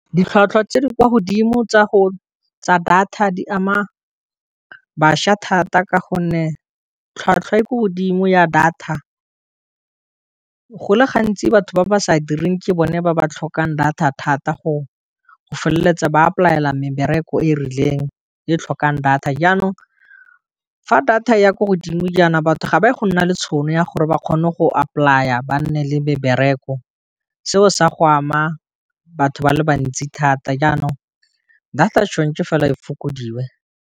Ditlhwatlhwa tse di kwa godimo tsa data di ama bašwa thata ka gonne, tlhwatlhwa e ko godimo ya data go le gantsi batho ba ba sa direng ke bone ba ba tlhokang data thata go feleletsa ba apply- a mebereko e rileng e tlhokang data, jaanong fa data e ya ko godimo jaana batho ga ba ye go nna le tšhono ya gore ba kgone go apolaya go re ba nne le mebereko, seo sa go ama batho ba le bantsi thata jaanong data tshwanetse fela e fokodiwe.